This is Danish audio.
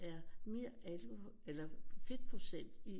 Er mere alkohol eller fedtprocent i